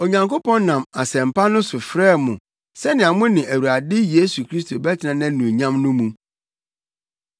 Onyankopɔn nam Asɛmpa no so frɛɛ mo sɛnea mo ne Awurade Yesu Kristo bɛtena nʼanuonyam no mu.